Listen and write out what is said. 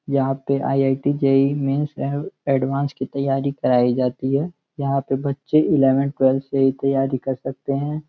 यहाँ पे IIT. JEE. Mains and advance की त्यारी कराई जाती है। यहाँ पर बच्चे एलेवेन टवेलवथ से ही तैयारी कर सकते हैं।